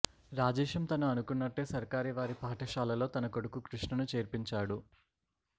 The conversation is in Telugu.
రాజేశం తను అనుకున్నట్టే సర్కారీ వారి పాఠశాలలో తన కొడుకు కృష్ణను చేర్పించాడు